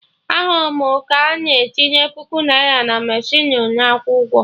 Ahụrụ m ka na etinye puku naira na mechinu na akwụ ụgwọ